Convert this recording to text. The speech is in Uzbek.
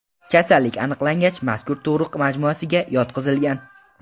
Kasallik aniqlangach, mazkur tug‘ruq majmuasiga yotqizilgan.